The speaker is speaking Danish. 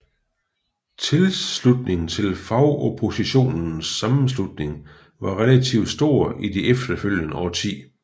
Tilslutningen til Fagoppositionens Sammenslutning var relativt stor i det efterfølgende årti